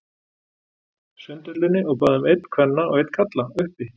Sundhöllinni og bað um einn kvenna og einn karla, uppi.